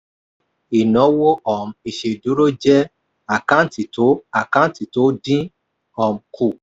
ìnáwó um ìsèdúró jẹ́ àkáǹtì tó àkáǹtì tó dín um kù.